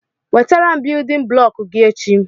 Wetara biyudin bụlọku gị echi!